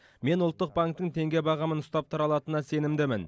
мен ұлттық банктің теңге бағамын ұстап тұра алатынына сенімдімін